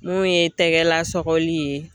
N'o ye tɛgɛla sɔgɔli ye.